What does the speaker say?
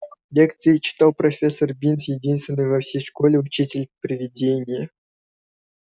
лекции читал профессор бинс единственный во всей школе учитель-привидение